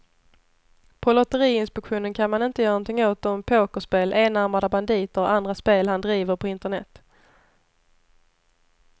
På lotteriinspektionen kan man inte göra någonting åt de pokerspel, enarmade banditer och andra spel han driver på internet.